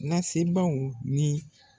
Lasebaaw ni